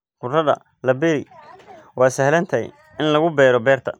Khudradda la beeri waa sahlan tahay in lagu beero beerta.